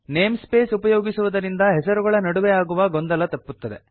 name space ಉಪಯೋಗಿಸುವುದರಿಂದ ಹೆಸರುಗಳ ನಡುವೆ ಆಗುವ ಗೊಂದಲ ತಪ್ಪುತ್ತದೆ